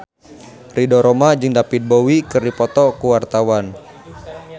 Ridho Roma jeung David Bowie keur dipoto ku wartawan